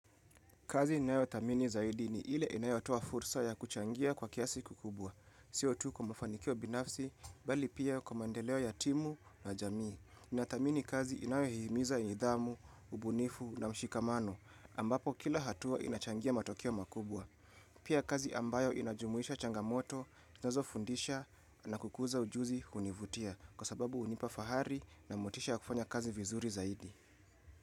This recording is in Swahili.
Kazi inayo thamini zaidi ni ile inayotoa fursa ya kuchangia kwa kiasi kikubwa. Sio tu kwa mafanikio binafsi, bali pia kwa maandeleo ya timu na jamii. Inathamini kazi inayohihimiza nidhamu, ubunifu na mshikamano, ambapo kila hatua inachangia matokeo makubwa. Pia kazi ambayo inajumuisha changamoto, nazo fundisha na kukuza ujuzi univutia, kwa sababu unipa fahari na motisha kufanya kazi vizuri zaidi.